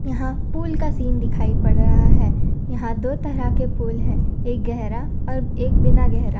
यहां पुल का सीन दिखाई पड़ रहा है यहां दो तरह के पुल है एक गहरा और एक बिना गहरा।